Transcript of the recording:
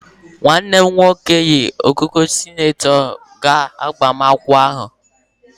Nwanne m nwoke yi ekike senetọ gaa agbamakwụkwọ ahụ.